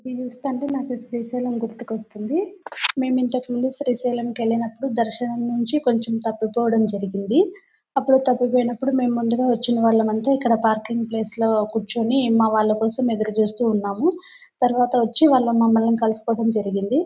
ఇది చూస్తుంటే నాకు శ్రీశైలం గుర్తుకొస్తుంది. మేం ఇంతకు ముందు శ్రీశైలంకి వెళ్లినప్పుడు దర్శనం నుంచి కొంచెం తప్పిపోవడం జరిగింది. అప్పుడు తప్పిపోయినప్పుడు మెం ముందుగా వచ్చిన వాళ్లంతా ఇక్కడ పార్కింగ్ ప్లేస్ లో కూర్చుని మా వాళ్ళ కోసం ఎదురు చూస్తూ ఉన్నాము. తర్వాత వచ్చి వాళ్ళు మమల్ని కలుసుకోవడం జరిగింది.